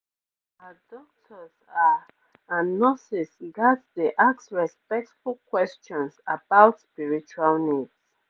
ah doctors ah and nurses ghats dey ask respectful questions about spiritual needs